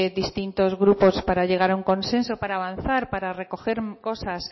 distintos grupos para llegar a un consenso para avanzar para recoger cosas